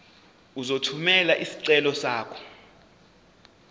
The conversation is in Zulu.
uzothumela isicelo sakho